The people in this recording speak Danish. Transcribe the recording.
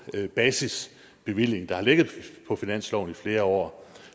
basisbevilling der har ligget på finansloven i flere år